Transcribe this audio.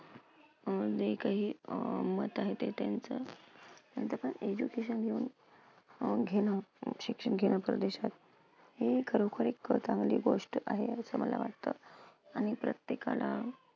अं जे काही अं मत आहे, ते त्यांचं education घेऊन घेणं मग शिक्षण घेणं परदेशात. हे खरोखर एक प्रथावाली गोष्ट आहे असं मला वाटतं. आणि प्रत्येकाला